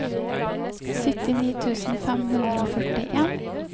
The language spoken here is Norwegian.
syttini tusen fem hundre og førtien